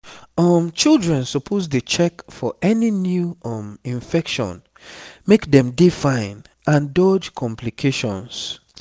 um children supposedey check for any new um infection make dem dey fine and dodge complications